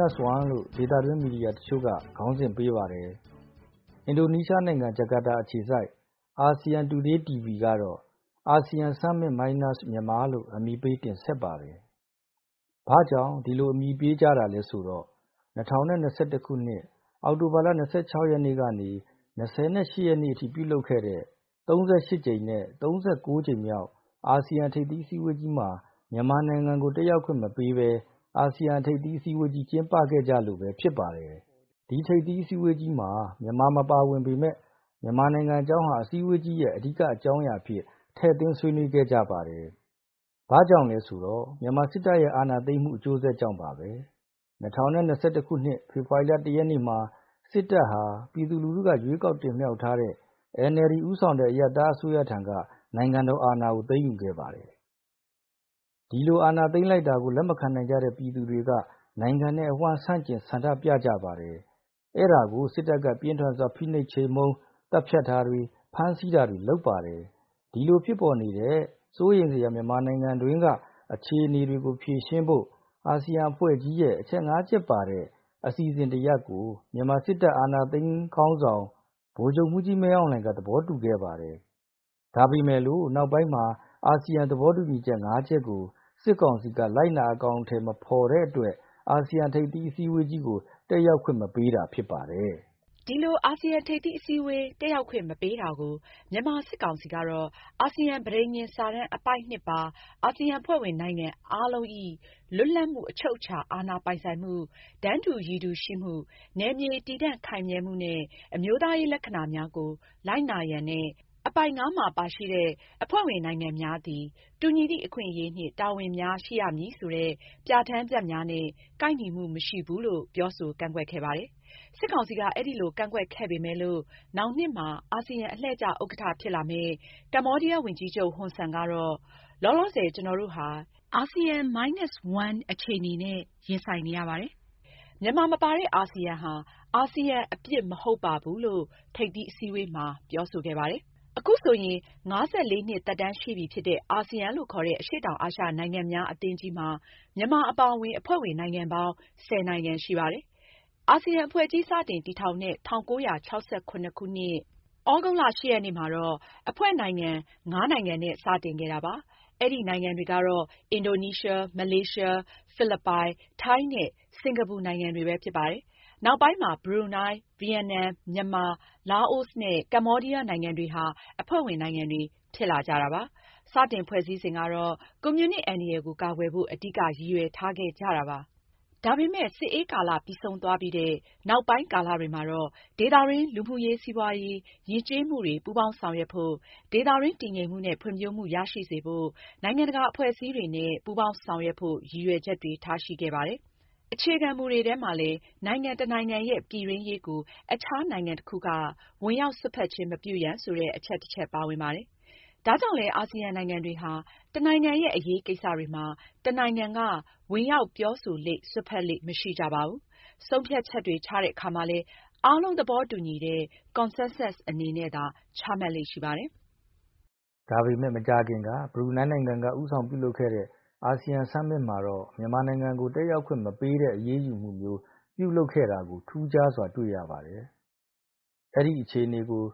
လို့ ဒေသတွင်းမီဒီယာတချို့ ခေါင်းစဉ်ပေးပါတယ်။ အင်ဒိုနီးရှားနိုင်ငံ၊ ဂျာကာတာ အခြေစိုက် အာဆီယံတူဒေးတီဗီ(ASEAN Today TV ) ကတော့ ASEAN Summit Minus Myanmar လို့ အမည်ပေးတင်ဆက်ပါတယ်။ ဘာကြောင့် ဒီလိုနာမည်ပေးကြတာလဲဆိုတော့ ၂၀၂၁ ခုနှစ်၊ အောက်တိုဘာ ၂၆ ရက်ကနေ ၂၈ ရက်အထိ ပြုလုပ်ခဲ့တဲ့ ၃၈ ကြိမ်မြောက်နဲ့ ၃၉ ကြိမ်မြောက် အာဆီယံထိပ်သီးအစည်းအဝေးကြီးမှာ မြန်မာနိုင်ငံကို တက်ရောက်ခွင့်မပေးဘဲ အာဆီယံထိပ်သီးအစည်းအဝေးကြီး ကျင်းပခဲ့ကြလို့ပဲ ဖြစ်ပါတယ်။ ထိပ်သီးအစည်းအဝေးကြီးမှာ မြန်မာ မပါဝင်ပေမယ့် မြန်မာနိုင်ငံအကြောင်းဟာ အစည်းအဝေးကြီးရဲ့အဓိကအကြောင်းအရာအဖြစ် ထည့်သွင်းဆွေးနွေးခဲ့ကြပါတယ်။ ဘာကြောင့်လဲဆိုတော့ မြန်မာစစ်တပ်ရဲ့ အာဏာသိမ်းမှုအကျိုးဆက်ကြောင့်ပါပဲ။၂၀၂၁ ခုနှစ်၊ဖေဖော်ဝါရီလ ၁ ရက်နေ့မှာ စစ်တပ်ဟာ ပြည်သူလူထုက ရွေးကောက်တင်မြှောက်ထားတဲ့ NLD ဦးဆောင်တဲ့ အရပ်သားအစိုးရထံက နိုင်ငံတော်အာဏာကို သိမ်းယူခဲ့ပါတယ်။ ဒီလိုအာဏာသိမ်းလိုက်တာကို လက်မခံနိုင်ကြတဲ့ ပြည်သူတွေက နိုင်ငံအဝှမ်း ဆန့်ကျင်ဆန္ဒပြကြပါတယ်။ အဲဒါကို စစ်တပ်က ပြင်းထန်စွာ ဖိနှိပ် ချေမှုန်းသတ်ဖြတ်တာတွေ၊ ဖမ်းဆီးတာတွေ လုပ်ပါတယ်။ ဒီလိုဖြစ်ပေါ်နေတဲ့ စိုးရိမ်စရာမြန်မာနိုင်ငံအတွင်းက အခြေအနေတွေကို ဖြေရှင်းဖို့ အာဆီယံအဖွဲ့ကြီးရဲ့ အချက် ၅ချက်ပါတဲ့ အစီအစဉ်တစ်ရပ်ကို မြန်မာစစ်တပ် အာဏာသိမ်းခေါင်းဆောင် ဗိုလ်ချုပ်မှူးကြီးမင်းအောင်လှိုင်က သဘောတူခဲ့ပါတယ်။ ဒါပေမဲ့လို့ နောက်ပိုင်းမှာ အာဆီယံသဘောတူညီချက် ၅ ချက်ကို စစ်ကောင်စီက လိုက်နာအကောင်အထည်မဖော်တဲ့အတွက် အာဆီယံထိပ်သီးအစည်းအဝေးကို တက်ရောက်ခွင့် မပေးတာ ဖြစ်ပါတယ်။ ဒီလို အာဆီယံထိပ်သီးအစည်းအဝေးတက်ရောက်ခွင့် မပေးတာကို မြန်မာစစ်ကောင်စီကတော့ အာဆီယံ ပဋိညာဉ်စာတမ်း အပိုဒ် ၂ ပါ " အာဆီယံအဖွဲ့ဝင်နိုင်ငံအားလုံး၏ လွတ်လပ်မှု၊ အချုပ်အခြာအာဏာပိုင်ဆိုင်မှု၊ တန်းတူရည်တူ ရှိမှု၊နယ်မြေတည်တံ့ခိုင်မြဲမှုနှင့် အမျိုးသားရေးလက္ခဏာများကို လိုက်နာရန်" နဲ့ အပိုဒ် ၅မှာ ပါရှိတဲ့ " အဖွဲ့ဝင်နိုင်ငံများသည် တူညီသည့်အခွင့်အရေးနှင့် တာဝန်များ ရှိရမည်" ဆိုတဲ့ ပြဋ္ဌာန်းချက်များနဲ့ ကိုက်ညီမှု မရှိဘူးလို့ ပြောဆိုကန့်ကွက်ခဲ့ပါတယ်။ စစ်ကောင်စီက အဲဒီလိုကန့်ကွက်ခဲ့ပေမယ်လို့ နောင်နှစ်မှာ အာဆီယံ အလှည့်ကျဥက္ကဋ္ဌဖြစ်လာမယ့် ကမ္ဘောဒီးယားဝန်ကြီးချုပ်ဟွန်ဆန်ကတော့ " လောလောဆယ်ကျွန်တော်တို့ဟာ ASEAN Minus One အခြေအနေနဲ့ ရင်ဆိုင်နေရပါတယ်။ မြန်မာမပါတဲ့ အာဆီယံဟာ အာဆီယံအပြစ် မဟုတ်ပါဘူး" လို့ ထိပ်သီးအစည်းအဝေးမှာပြောဆိုခဲ့ပါတယ်။ အခုဆိုရင် ၅၄ နှစ်သက်တမ်းရှိပြီဖြစ်တဲ့ အာဆီယံလို့ခေါ်တဲ့ အရှေ့တောင်အာရှနိုင်ငံများအသင်းကြီးမှာ မြန်မာအပါအဝင် အဖွဲ့ဝင်နိုင်ငံပေါင်း ၁၀ နိုင်ငံရှိပါတယ်။ အာဆီယံအဖွဲ့ကြီး စတင်တည်ထောင်တဲ့ ၁၉၆၇ ခုနှစ်၊ သြဂုတ်လ ၈ ရက်နေ့မှာတော့ အဖွဲ့နိုင်ငံ ၅ နိုင်ငံနဲ့ စတင်ခဲ့တာပါ။ အဲဒီနိုင်ငံတွေကတော့ အင်ဒိုနီးရှား၊ မလေးရှား၊ ဖိလစ်ပိုင်၊ ထိုင်း နဲ့ စင်ကာပူနိုင်ငံတွေပဲ ဖြစ်ပါတယ်။နောက်ပိုင်းမှာ ဘရူနိုင်း၊ ဗီယက်နမ်၊ မြန်မာ၊ လာအိုနဲ့ကမ္ဘောဒီးယားနိုင်ငံတွေဟာ အဖွဲ့ဝင်နိုင်ငံတွေ ဖြစ်လာကြတာပါ။ စတင်ဖွဲ့စည်းစဉ်ကတော့ ကွန်မြူနစ်အန္တရာယ်ကို ကာကွယ်ဖို့ အဓိကရည်ရွယ်ချက်ထားခဲ့ကြတာပါ။ဒါပေမယ့် စစ်အေးကာလပြီးဆုံးသွားပြီးတဲ့ နောက်ပိုင်းကာလတွေမှာတော့ ဒေသတွင်း လူမှုရေး၊ စီးပွါးရေး၊ ယဉ်ကျေးမှုတွေ ပူးပေါင်းဆောင်ရွက်ဖို့၊ ဒေသတွင်းတည်ငြိမ်မှုနဲ့ ဖွံ့ဖြိုးမှု ရရှိစေဖို့၊ နိုင်ငံတကာအဖွဲ့အစည်းများနဲ့ ပူးပေါင်းဆောင်ရွက်ဖို့ရည်ရွယ်ချက်တွေ ထားရှိခဲ့ပါတယ်။ အခြေခံမူတွေထဲမှာလည်း နိုင်ငံတစ်နိုင်ငံရဲ့ပြည်တွင်းရေးကို အခြားနိုင်ငံတစ်ခုက ဝင်ရောက်စွက်ဖက်ခြင်း မပြုရန် ဆိုတဲ့အချက်တစ်ချက် ပါဝင်ပါတယ်။ ဒါကြောင့်လည်း အာဆီယံနိုင်ငံတွေဟာ တစ်နိုင်ငံရဲ့အရေးကိစ္စတွေမှာ တစ်နိုင်ငံက ဝင်ရောက်ပြောဆိုလေ့၊ စွက်ဖက်လေ့ မရှိကြပါဘူး။ ဆုံးဖြတ်ချက်တွေ ချတဲ့အခါမှာလည်း အားလုံးသဘောတူညီတဲ့ Consensus အနေနဲ့သာ ချမှတ်လေ့ ရှိပါတယ်။ ဒါပေမဲ့ မကြာခင်က ဘရူနိုင်းနိုင်ငံက ဦးဆောင်ပြုလုပ်ခဲ့တဲ့ အာဆီယံ Summit မှာတော့ မြန်မာနိုင်ငံကို တက်ရောက်ခွင့်မပေးတဲ့အရေးယူမှုမျိုး ပြုလုပ်ခဲ့တာကိုထူးခြားစွာ တွေ့ရပါတယ်။ အဲဒီအခြေအနေကို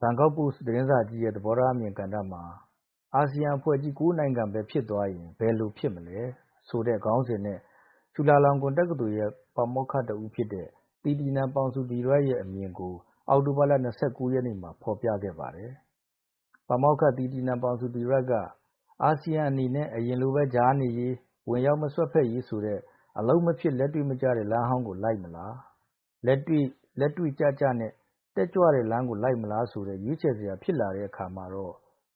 Bangkok Post သတင်းစာကြီးရဲ့သဘောထားအမြင်ကဏ္ဍမှာ" အာဆီယံအဖွဲ့ကြီး ၉ နိုင်ငံပဲဖြစ်သွားရင် ဘယ်လိုဖြစ်မလဲ" ခေါင်းစဉ်နဲ့ ချူလာလောင်ကွန်တက္ကသိုလ်ရဲ့ ပါမောက္ခတစ်ဦးဖြစ်တဲ့ သီတီနန် ပေါင်ဆူဒီရက်ရဲ့ အမြင်ကို အောက်တိုဘာလ ၂၉ ရက်နေ့မှာ ဖော်ပြခဲ့ပါတယ်။ ပါမောက္ခသီတီနန် ပေါင်ဆူဒီရတ်က " အာဆီယံအနေနဲ့ အရင်လိုပဲ ကြားနေရေး၊ ဝင်ရောက်မစွက်ဖက်ရေးဆိုတဲ့ အလုပ်မဖြစ်၊ လက်တွေ့မကျတဲ့ လမ်းဟောင်းကို လိုက်မလား။လက်တွေ့ကျကျနဲ့ တက်ကြွတဲ့ လမ်းကို လိုက်မလားဆိုတဲ့ ရွေးချယ်စရာ ဖြစ်လာတဲ့အခါ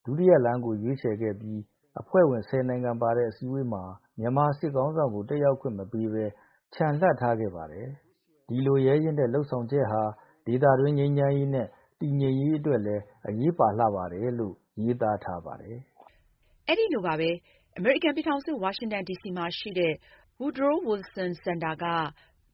ဒုတိယလမ်းကိုရွေးချယ်ခဲ့ပြီး အဖွဲ့ဝင် ဆယ်နိုင်ငံပါတဲ့အစည်းအဝေးမှာ မြန်မာစစ်ခေါင်းဆောင်ကို တက်ရောက်ခွင့်မပေးဘဲ ချန်လှပ်ထားခဲ့ပါတယ်။ ဒီလိုရဲရင့်တဲ့လုပ်ဆောင်ချက်ဟာ ဒေသတွင်း ငြိမ်းချမ်းရေးနဲ့ တည်ငြိမ်ရေးအတွက်လည်း အရေးပါလှတယ်။"လို့ ရေးသားထားပါတယ်။ အဲဒီလိုပါပဲ။ အမေရိကန်ပြည်ထောင်စု ဝါရှင်တန်ဒီစီမှာ ရှိတဲ့ Woodrow Wilson Center က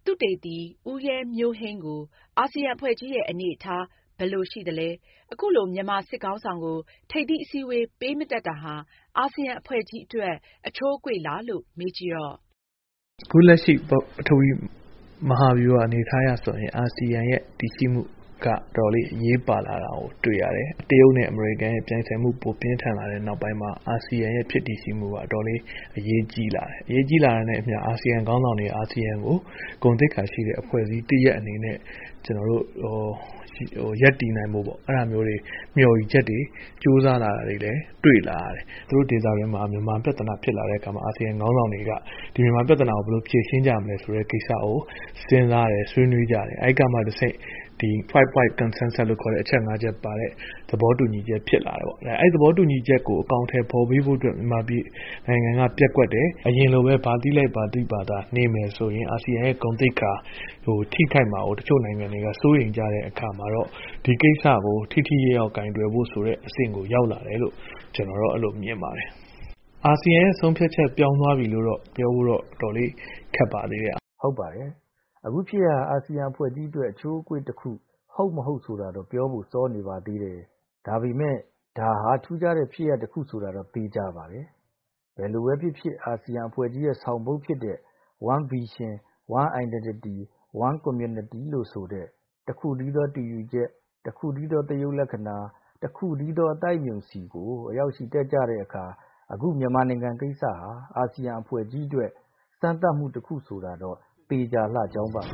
သုတေသနသမား ဦးရဲမျိုးဟိန်းကို အာဆီယံအဖွဲ့ကြီးရဲ့ အနေအထားဘယ်လိုရှိသလဲ၊ အခုလို မြန်မာစစ်ခေါင်းဆောင်ကို ထိပ်သီးအစည်းအဝေး ပေးမတက်တာဟာ အာဆီယံအဖွဲ့ကြီးအတွက် အချိုးအကွေ့လားလို့ မေးကြည့်တော့ "ပထဝီအနေအထားအရဆိုရင် အာဆီယံအနေအထားက အတော်လေးအရေးပါလာတာကို တွေ့ရတယ်။ တရုတ်နဲ့အမေရိကန်ပြိုင်ဆိုင်မှုပြင်းထန်လာတဲ့နောက်ပိုင်း အာဆီယံဖြစ်တည်မှုက အရေးကြီးလာတာနဲ့အမျှ အာဆီယံခေါင်းဆောင်တွေက အာဆီယံကို ဂုဏ်သိက္ခာရှိတဲ့ အဖွဲ့တစ်ရပ်အနေနဲ့ ရပ်တည်ဖို့ ကြိုးစားလာတာကို တွေ့ရတယ်။ ဒေသတွင်းမှာ မြန်မာပြဿနာဖြစ်လာတဲ့အခါ အာဆီယံခေါင်းဆောင်တွေကမြန်မာပြဿနာဘယ်လိုဖြေရှင်းကြမလဲ ဆွေးနွေးကြတဲ့အခါ Five Point Concensus လို့ ခေါ်တဲ့ သဘောတူညီချက် ဖြစ်လာတယ်။ အဲဒီသဘောတူညီချက် ၅ ချက်ကိုအကောင်အထည်ဖော်ဖို့ မြန်မာက ပျက်ကွက်တယ်။ အရင်လိုပဲ ဘာသိဘာသာနေမယ်ဆိုရင် အာဆီယံဂုဏ်သိက္ခာ ထိခိုက်မှာကို နိုင်ငံတချို့က စိုးရိမ်ကြတဲ့အခါကျတော့ ဒီကိစ္စကို ထိထိရောက်ရောက်ကိုင်တွယ်ဖို့အဆင့်ကို ရောက်လာတယ်လို့ မြင်ပါတယ်။ အာဆီယံပြောင်းသွားပြီလို့ ပြောဖို့တော့ အတော်လေး ခက်ပါသေးတယ်။ " ဟုတ်ပါတယ်။ အခုဖြစ်ရပ်ဟာ အာဆီယံအဖွဲ့ကြီးအတွက် အချိုးအကွေ့တစ်ခုဟုတ်၊ မဟုတ် ဆိုတာတော့ ပြောဖို့စောနေပါသေးတယ်။ ဒါပေမဲ့ ဒါဟာ ထူးခြားတဲ့ဖြစ်ရပ် တစ်ခုဆိုတာတော့ သေချာပါတယ်။ ဘယ်လိုပဲဖြစ်ဖြစ် အာဆီယံအဖွဲ့ကြီးရဲ့ဆောင်ပုဒ်ဖြစ်တဲ့" One Vision, One Identity ,One Community " တစ်ခုတည်းသောတူရူချက်၊တစ်ခုတည်းသော သရုပ်လက္ခဏာ၊တစ်ခုတည်းသော အသိုက်အမြုံ" ဆီကိုအရောက်ချီတက်တဲ့အခါ အခုမြန်မာနိုင်ငံကိစ္စဟာ အာဆီယံအဖွဲ့ကြီးအတွက်စမ်းသပ်မှုတစ်ခုဆိုတာတော့ သေချာလှကြောင်းပါ